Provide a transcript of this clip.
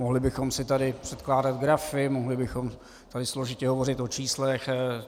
Mohli bychom si tady předkládat grafy, mohli bychom tady složitě hovořit o číslech.